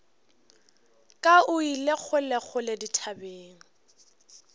ka o ile kgolekgole dithabeng